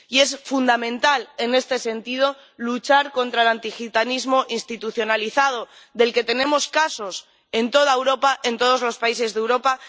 Y es fundamental, en este sentido, luchar contra el antigitanismo institucionalizado, del que tenemos casos en toda Europa, en todos los países de Europa.